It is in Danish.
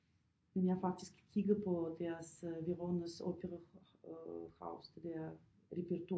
Men jeg har faktisk kigget på deres Veronas opera øh house det der repertoire